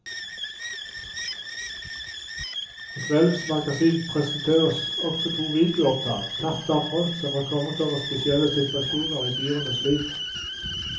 I kveldens magasin presenteres også to videoopptak, tatt av folk som har kommet over spesielle situasjoner i dyrenes liv.